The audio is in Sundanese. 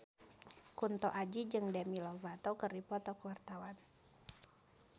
Kunto Aji jeung Demi Lovato keur dipoto ku wartawan